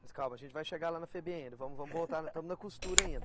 Mas calma, a gente vai chegar lá na Febem ainda, vamos vamos voltar, estamos na costura ainda.